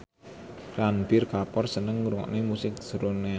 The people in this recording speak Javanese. Ranbir Kapoor seneng ngrungokne musik srunen